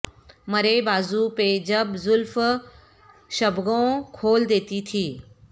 مرے بازو پہ جب زلف شبگوں کھول دیتی تھی